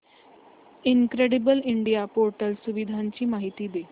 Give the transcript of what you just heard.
incredible India portal सुविधांची माहिती दे